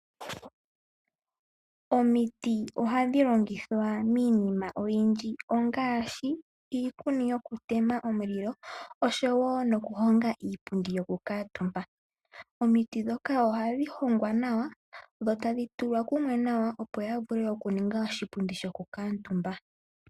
Omiti ohadhi longithwa miinima oyindji ngaashi miikuni yokutema omulilo osho wo okuhonga iipundi yokukuutumba. Omiti ndhoka ohadhi hongwa nawa dho tadhi tulwa kumwe nawa opo ya vule okuninga oshipundi shokukuutumba.